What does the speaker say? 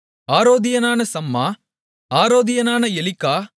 ஆரோதியனான சம்மா ஆரோதியனான எலிக்கா